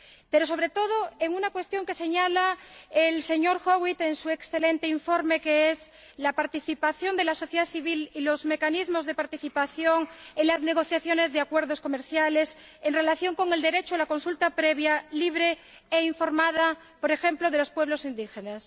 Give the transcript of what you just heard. Pero, sobre todo, en una cuestión que señala el señor Howitt en su excelente informe, como es la participación de la sociedad civil y los mecanismos de participación en las negociaciones de acuerdos comerciales en relación con el derecho a la consulta previa, libre e informada, por ejemplo, de los pueblos indígenas.